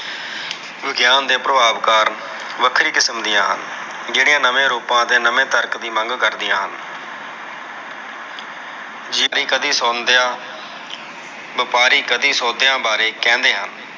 ਵਿਗਿਆਨ ਦੇ ਪ੍ਰਭਾਵ ਕਾਰਣ ਵੱਖਰੀ ਕਿਸਮ ਦੀਆਂ ਹਨ। ਜਿਹੜਿਆਂ ਨਵੇਂ ਰੂਪਾ ਅਤੇ ਨਵੇਂ ਤਰਕ ਦੇ ਮੰਗ ਕਰਦੀਆਂ ਹਨ।